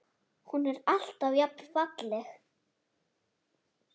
Hún er alltaf jafn falleg.